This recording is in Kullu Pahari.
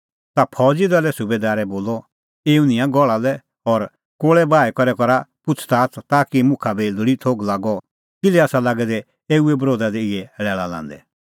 ता फौज़ी दले सुबैदारै बोलअ एऊ निंयां गहल़ा लै और कोल़ै बाही करै करा पुछ़ज़ाच़ ताकि मुखा बी लोल़ी थोघ लागअ कि ईंयां लोग किल्है आसा लागै दै एऊए बरोधा दी इहै लैल़ा लांदै